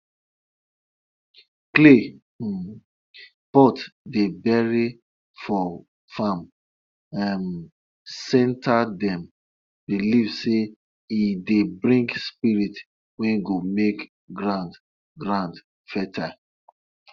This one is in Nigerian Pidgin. my uncle no dey use sheep wey no get spot for body play for the sacrifice wey our forefathers dey do every year.